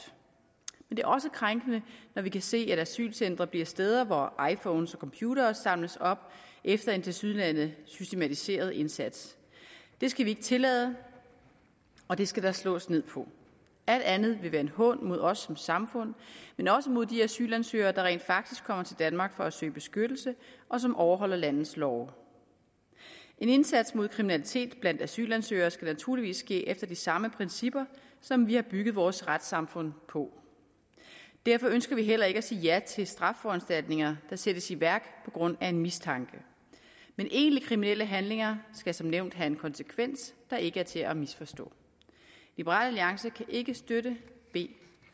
det er også krænkende når vi kan se at asylcentre bliver steder hvor iphones og computere opsamles efter en tilsyneladende systematiseret indsats det skal vi ikke tillade og det skal der slås ned på alt andet vil være en hån mod os som samfund men også mod de asylansøgere der rent faktisk kommer til danmark for at søge beskyttelse og som overholder landets love en indsats mod kriminalitet blandt asylansøgere skal naturligvis ske efter de samme principper som vi har bygget vores retssamfund på og derfor ønsker vi heller ikke at sige ja til straffeforanstaltninger der sættes i værk på grund af en mistanke men egentlige kriminelle handlinger skal som nævnt have en konsekvens der ikke er til at misforstå liberal alliance kan ikke støtte b